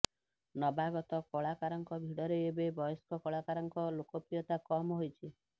ନବାଗତ କଳାକାରଙ୍କ ଭିଡ଼ରେ ଏବେ ବୟସ୍କ କଳାକାରଙ୍କ ଲୋକପ୍ରିୟତା କମ୍ ହୋଇଛି